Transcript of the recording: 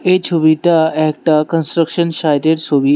এই ছবিটা একটা কনস্ট্রাকশন সাইট এর সোবির।